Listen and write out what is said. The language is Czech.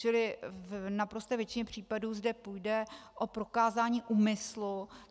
Čili v naprosté většině případů zde půjde o prokázání úmyslu.